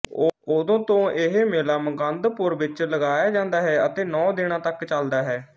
ਉਦੋਂ ਤੋਂ ਇਹ ਮੇਲਾ ਮੁਕੰਦਪੁਰ ਵਿੱਚ ਲਗਾਇਆ ਜਾਂਦਾ ਹੈ ਅਤੇ ਨੌਂ ਦਿਨਾਂ ਤੱਕ ਚਲਦਾ ਹੈ